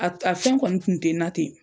A a fɛn kɔni tun tɛ na ten.